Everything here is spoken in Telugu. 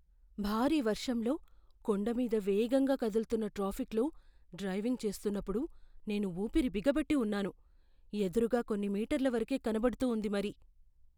భారీ వర్షంలో కొండ మీద వేగంగా కదులుతున్న ట్రాఫిక్లో డ్రైవింగ్ చేస్తున్నప్పుడు నేను ఊపిరి బిగపట్టి ఉన్నాను! ఎదురుగా కొన్ని మీటర్ల వరకే కనపడుతూ ఉంది మరి.